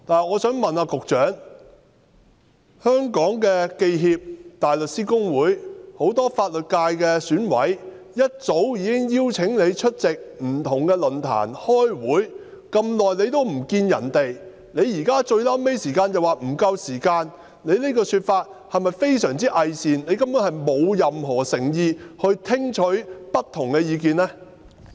我想問局長，香港記者協會、香港大律師公會、選舉委員會很多法律界選委早已邀請局長出席不同論壇和開會，但局長在這麼長時間也沒有與他們會面，現在到最後才說時間不足，局長這種說法是否非常偽善，根本沒有任何誠意聽取不同的意見呢？